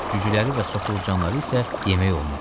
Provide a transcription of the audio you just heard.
Cücüləri və soxulcanları isə yemək olmaz.